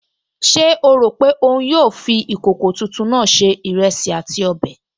Ṣé ó rò pé òun yóò fi ìkòkò tuntun náà se ìrẹsì àti ọbẹ̀?